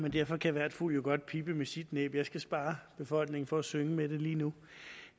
derfor kan hver fugl godt pippe med sit næb jeg skal spare befolkningen for at synge med det lige nu